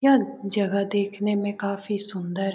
यह जगह देखने में काफी सुंदर --